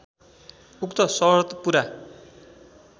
उक्त शर्त पूरा